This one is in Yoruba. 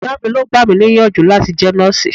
Ìyá mi ló gbà mí níyànjú láti jẹ́ nọ́ọ̀sì.